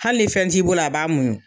Hali fɛn t'i bolo a b'a muɲu.